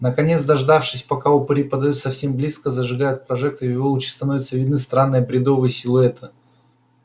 наконец дождавшись пока упыри подойдут совсем близко зажигают прожектор и в его луче становятся видны странные бредовые силуэты